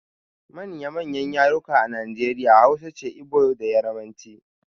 Manya manyan yarurruka a Nijeriya Hausa ce, Ibo da yarbanci